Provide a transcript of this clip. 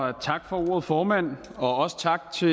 og tak for ordet formand også tak til